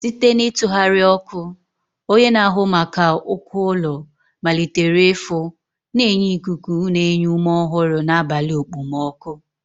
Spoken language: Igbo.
Site n'ịtụgharị ọkụ, onye na-ahụ maka uko ụlọ malitere ịfụ, na-enye ikuku na-enye ume ọhụrụ n'abalị okpomọkụ.